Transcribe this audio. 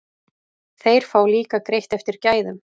Þeir fá líka greitt eftir gæðum.